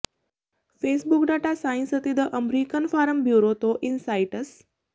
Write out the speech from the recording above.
Facebook data science ਅਤੇ the American farm bureau ਤੋਂ insights